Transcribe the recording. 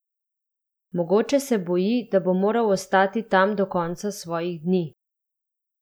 Mogoče se boji, da bo moral ostati tam do konca svojih dni!